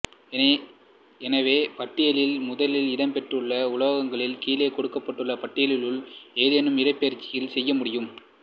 எனவே பட்டியலில் முதலில் இடம்பெற்றுள்ள உலோகங்களால் கீழே கொடுக்கப்பட்டுள்ள பட்டியலிலுள்ள எதையும் இடப்பெயர்ச்சி செய்யமுடியும்